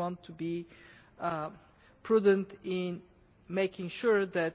We want to be prudent in making sure that